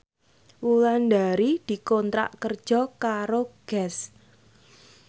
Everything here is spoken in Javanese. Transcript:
Wulandari dikontrak kerja karo Guess